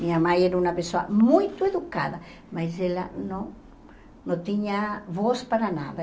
Minha mãe era uma pessoa muito educada, mas ela não não tinha voz para nada.